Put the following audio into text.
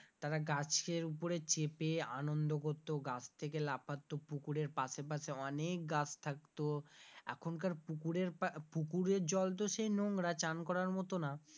তারা গাছের ওপরে চেপে আনন্দ করতো গাছ থেকে লাফাতো, পুকুরের পাশেপাসে অনেক গাছ থাকতো এখনকার পুকুরের পা পুকুরের জল তো সেই নোংরা চান করার মতো না,